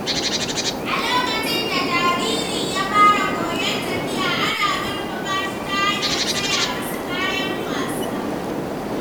A lokacin da jariri ya fara koyon tafiya, ana ƙarfafa shi ta hanyar saya masa kayan wasa.